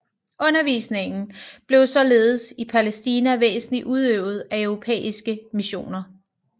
Undervisningen blev således i Palæstina væsentlig udøvet af europæiske missioner